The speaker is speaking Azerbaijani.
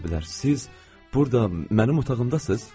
Siz burda mənim otağımdasız?